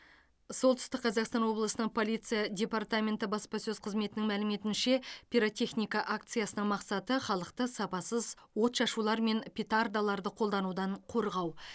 солтүстік қазақстан облысының полиция департаменті баспасөз қызметінің мәліметінше пиротехника акциясының мақсаты халықты сапасыз отшашулар мен петардаларды қолданудан қорғау